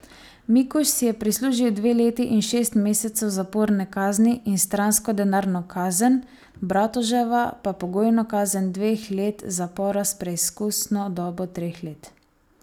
Mikuž si je prislužil dve leti in šest mesecev zaporne kazni in stransko denarno kazen, Bratoževa pa pogojno kazen dveh let zapora s preizkusno dobo treh let.